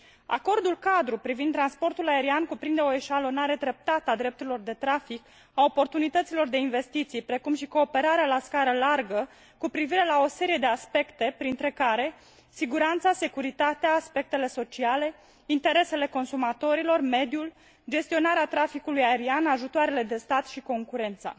Acordul cadru privind transportul aerian cuprinde o eșalonare treptată a drepturilor de trafic și a oportunităților de investiții, precum și cooperarea la scară largă cu privire la o serie de aspecte printre care siguranța, securitatea, aspectele sociale, interesele consumatorilor, mediul, gestionarea traficului aerian, ajutoarele de stat și concurența.